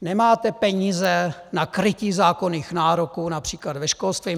Nemáte peníze na krytí zákonných nároků, například ve školství.